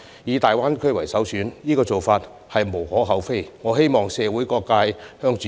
以大灣區為首選是無可厚非的做法，我希望社會各界朝這目標共同努力。